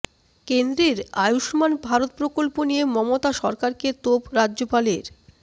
কেন্দ্রের আয়ুষ্মান ভারত প্রকল্প নিয়ে মমতা সরকারকে তোপ রাজ্যপালের